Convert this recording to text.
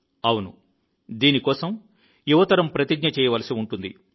అవును దీని కోసం యువ తరం ప్రతిజ్ఞ చేయవలసి ఉంటుంది